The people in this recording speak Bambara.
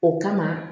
O kama